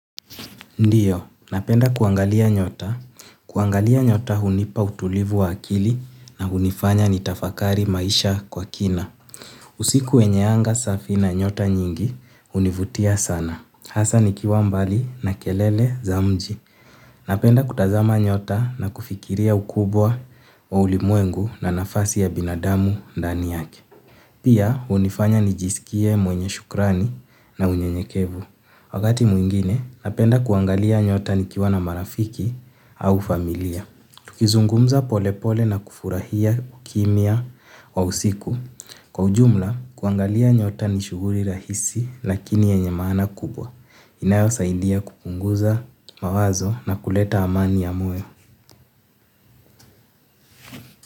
Ndiyo, napenda kuangalia nyota. Kuangalia nyota hunipa utulivu wa akili na hunifanya ni tafakari maisha kwa kina. Usiku wenye anga safi na nyota nyingi, hunivutia sana. Hasa nikiwa mbali na kelele za mji napenda kutazama nyota na kufikiriya ukubwa wa ulimwengu na nafasi ya binadamu ndani yake. Pia, hunifanya nijisikie mwenye shukrani na unyenyekevu. Wakati mwingine, napenda kuangalia nyota nikiwana marafiki au familiya. Tukizungumza polepole na kufurahia ukimya wa usiku. Kwa ujumla, kuangalia nyota ni shughuli rahisi lakini yenye maana kubwa. Inayo saidia kupunguza mawazo na kuleta amani ya moyo.